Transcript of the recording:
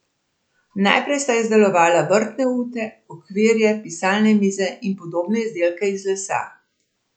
Najprej sta izdelovala vrtne ute, okvirje, pisalne mize in podobne izdelke iz lesa.